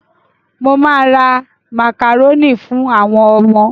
Mo ma ra màkàrónì fún àwọn ọmọ